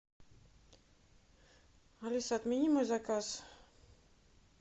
алиса отмени мой заказ